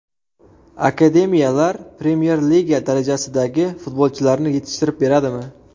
Akademiyalar Premyer Liga darajasidagi futbolchilarni yetishtirib beradimi?